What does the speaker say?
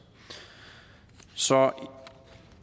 så